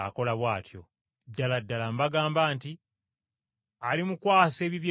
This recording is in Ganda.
Ddala ddala mbagamba nti, alimukwasa ebintu bye byonna.